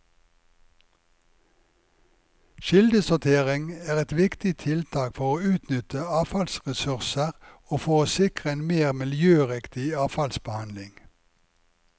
Kildesortering er et viktig tiltak for å utnytte avfallsressurser og for å sikre en mer miljøriktig avfallsbehandling.